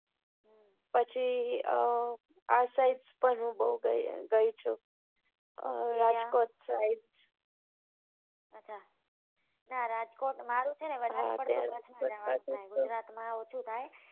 પછી અ આ side હું બઉ ગઈ છું ક્યા રાજકોટ side અચ્છા રાજકોટ મારું છે ને વધારે પડતું નથી ગુજરાત માં ઓછું થાય